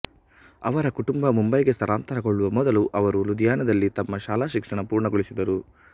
ಅವರ ಕುಟುಂಬ ಮುಂಬೈಗೆ ಸ್ಥಳಾಂತರಗೊಳ್ಳುವ ಮೊದಲು ಅವರು ಲುಧಿಯಾನದಲ್ಲಿ ತಮ್ಮ ಶಾಲಾ ಶಿಕ್ಷಣ ಪೂರ್ಣಗೊಳಿಸಿದರು